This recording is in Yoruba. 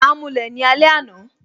A mulẹ̀ ni alẹ́ àná